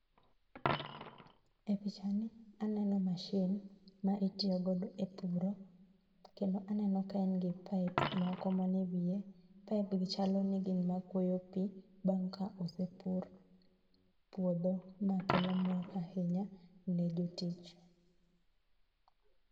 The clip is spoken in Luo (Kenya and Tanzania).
e picha ni aneno machine maitiyogo e puro kendo aneno ka en gi pipes moko manie ewiye pipe gi chalo ni gin makwoyo pii bang kosepur puodho makelo mor ahinya ne jotich